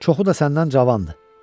Çoxu da səndən cavandır.